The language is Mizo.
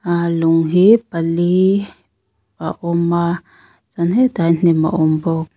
ahh lung hi pali a awm a chuan hetah hian hnim a awm bawk.